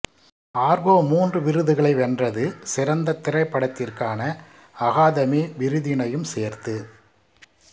ஆர்கோ மூன்று விருதுகளை வென்றது சிறந்த திரைப்படத்திற்கான அகாதமி விருதினையும் சேர்த்து